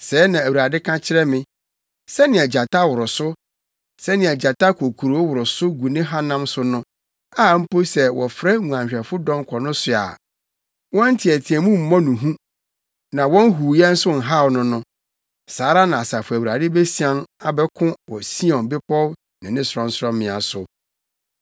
Sɛɛ na Awurade ka kyerɛ me: “Sɛnea gyata woro so, sɛnea gyata kokroo woro so gu ne hanam so no a mpo sɛ wɔfrɛ nguanhwɛfo dɔm kɔ no so a, wɔn nteɛteɛmu mmɔ no hu na wɔn huuyɛ nso nhaw no no, saa ara na Asafo Awurade besian abɛko wɔ Sion Bepɔw ne ne sorɔnsorɔmmea so.